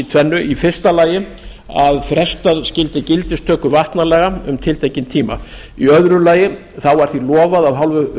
tvennu í fyrsta lagi að frestað skyldi gildistöku vatnalaga um tiltekinn tíma í öðru lagi þá var því lofað af hálfu